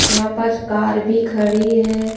यहां पास कार भी खड़ी है।